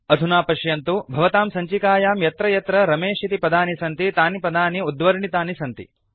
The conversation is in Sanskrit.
अधुना पश्यन्तु भवतां सञ्चिकायां यत्र यत्र रमेश इति पदानि सन्ति तानि पदानि उद्वर्णितानि सन्ति